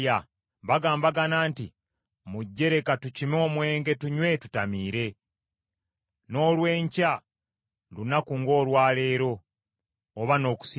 Bagambagana nti, “Mujje, leka tukime omwenge tunywe tutamiire. N’olw’enkya lunaku ng’olwa leero, oba n’okusingawo.”